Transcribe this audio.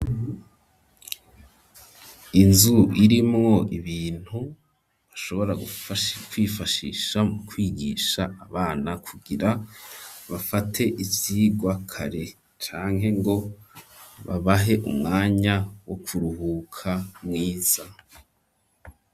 Inzu irimwo ibintu bashobora kwifashisha mu kwigisha abana kugira bafate icirwa kare canke ngo babahe umwanya wo ku ruhuka mwiza.